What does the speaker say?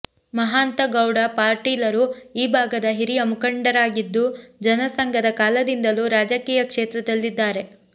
ಮಹಾಂತಗೌಡ ಪಾಟೀಲರು ಈ ಭಾಗದ ಹಿರಿಯ ಮುಖಂಡರಾಗಿದ್ದು ಜನಸಂಘದ ಕಾಲದಿಂದಲೂ ರಾಜಕೀಯ ಕ್ಷೇತ್ರದಲ್ಲಿದ್ದಾರೆ